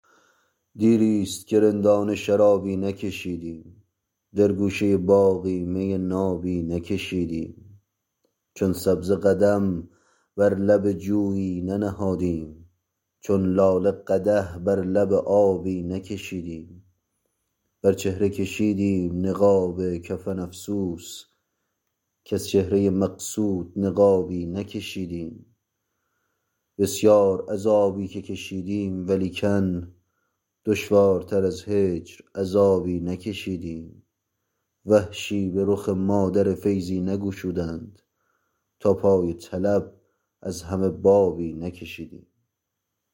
دیریست که رندانه شرابی نکشیدیم در گوشه باغی می نابی نکشیدیم چون سبزه قدم بر لب جویی ننهادیم چون لاله قدح بر لب آبی نکشیدیم بر چهره کشیدیم نقاب کفن افسوس کز چهره مقصود نقابی نکشیدیم بسیار عذابی که کشیدیم ولیکن دشوارتر از هجر عذابی نکشیدیم وحشی به رخ ما در فیضی نگشودند تا پای طلب از همه بابی نکشیدیم